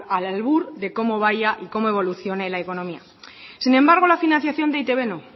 al albur de cómo vaya y cómo evolucione la economía sin embargo la financiación de e i te be no